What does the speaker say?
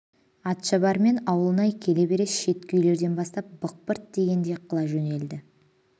атшабар мен ауылнай келе бере шеткі үйлерден бастап бықпырт тигендей қыла жөнелді